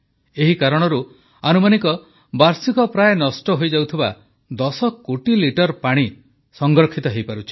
ଏହି କାରଣରୁ ଆନୁମାନିକ ବାର୍ଷିକ ପ୍ରାୟ ନଷ୍ଟ ହୋଇଯାଉଥିବା 10 କୋଟି ଲିଟର ପାଣି ସଂରକ୍ଷିତ ହୋଇପାରୁଛି